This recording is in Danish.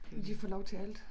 Men de får lov til alt